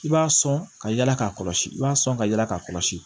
I b'a sɔn ka yala k'a kɔlɔsi i b'a sɔn ka yala k'a kɔlɔsi